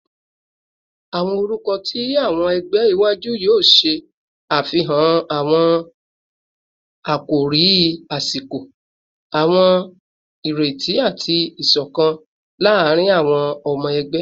Awọn orukọ ti awọn ẹgbẹ iwaju yoo ṣe afihan awọn akori asiko, awọn ireti, ati isokan laarin awọn ọmọ ẹgbẹ